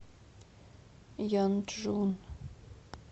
янчжун